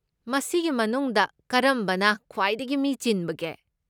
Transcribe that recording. ꯃꯁꯤꯒꯤ ꯃꯅꯨꯡꯗ ꯀꯔꯝꯕꯅ ꯈ꯭ꯋꯥꯏꯗꯒꯤ ꯃꯤ ꯆꯤꯟꯕꯒꯦ?